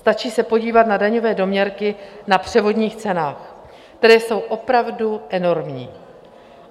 Stačí se podívat na daňové doměrky na převodních cenách, které jsou opravdu enormní.